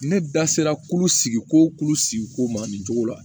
Ne da sera kulu sigi ko sigi ko ma nin cogo la